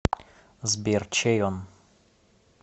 сбер чей он